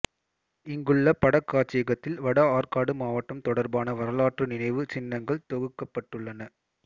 இங்குள்ள படக்காட்சியகத்தில் வட ஆற்காடு மாவட்டம் தொடர்பான வரலாற்று நினைவு சின்னங்கள் தொகுக்கப்பட்டுள்ளன